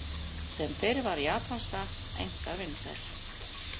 Sem fyrr var japanskan einkar vinsæl.